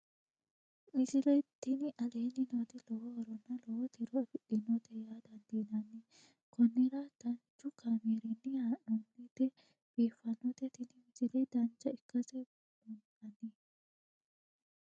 misile tini aleenni nooti lowo horonna lowo tiro afidhinote yaa dandiinanni konnira danchu kaameerinni haa'noonnite biiffannote tini misile dancha ikkase buunxanni